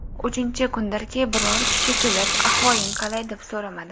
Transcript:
Uchinchi kundirki biror kishi kelib ahvoling qalay, deb so‘ramadi.